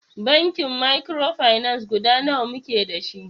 Bankin mikrofinance guda nawa muke dashi?